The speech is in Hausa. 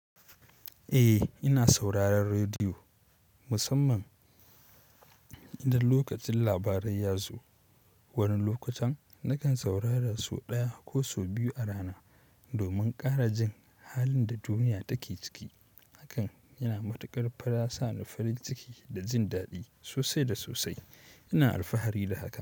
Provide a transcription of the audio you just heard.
Eh ina sauraron rediyo musamman idan lokacin labarai ya zo. Wani lokutan nakan saurara sau ɗaya ko sau biyu a rana domin ƙara jin halin da duniya take ciki. Hakan yana matuƙar fara sa ni farin ciki da jin daɗi sosai da sosai. Ina alfahari da haka.